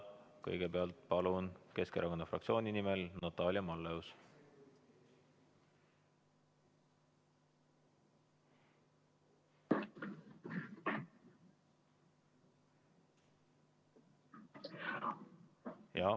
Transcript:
Kõigepealt Keskerakonna fraktsiooni nimel Natalia Malleus.